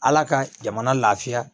Ala ka jamana lafiya